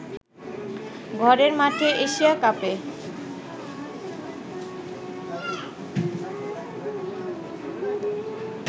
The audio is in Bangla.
ঘরের মাঠে এশিয়া কাপে